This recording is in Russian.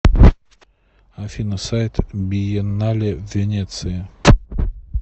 афина сайт биеннале в венеции